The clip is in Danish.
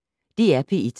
DR P1